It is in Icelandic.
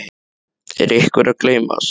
Er einhver að gleymast?